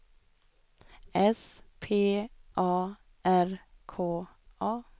S P A R K A